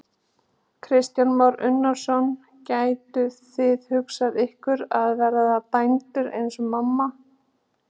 Kristján Már Unnarsson: Gætuð þið hugsað ykkur að verða bændur eins og mamma?